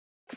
Hvar?